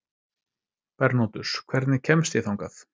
Bernódus, hvernig kemst ég þangað?